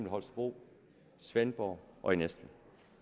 holstebro svendborg og næstved